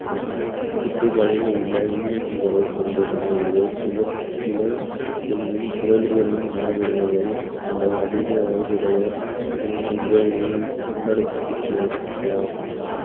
சுற்று பாதையில் உள்ள உயிரினங்களை கொண்டுள்ளனர் இவை சூழல் இன்னும் திரள்களில் காணப்படுவதை இன்று அதிக வயதுடைய உள்ளடக்கியது ஆகும்